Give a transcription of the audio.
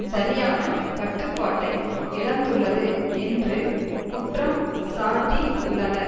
சரியான கட்டுப்பாட்டை இழந்துள்ளது என்று குற்றம் சாட்டி உள்ளனர்